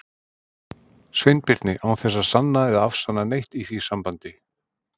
Sveinbirni, án þess að sanna eða afsanna neitt í því sambandi.